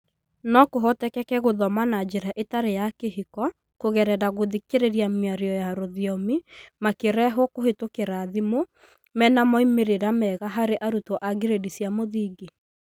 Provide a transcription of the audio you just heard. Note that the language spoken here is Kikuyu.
No kũhotekeke gũthoma na njĩra ĩtarĩ ya kĩhiko kũgerera gũthikĩrĩria mĩario ya rũthiomi makĩrehwo kũhetũkĩra thimũ, menamoimĩrĩra mega harĩ arutwo a girĩndi cia mũthingi.